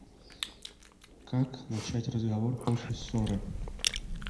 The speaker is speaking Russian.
как начать разговор после ссоры